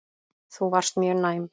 Þú varst mjög næm.